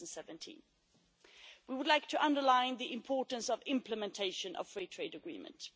2017. We would like to underline the importance of implementing free trade agreements.